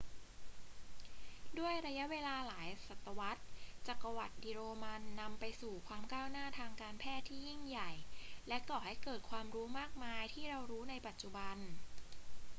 ด้วยระยะเวลาหลายศตวรรษ จักรวรรดิโรมันนำไปสู่ความก้าวหน้าทางการแพทย์ที่ยิ่งใหญ่ และก่อให้เกิดความรู้มากมายที่เรารู้ในปัจจุบัน